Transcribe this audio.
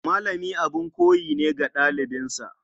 Malami abin koyi ne ga ɗalibansa.